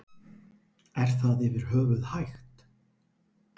Er það yfir höfuð hægt?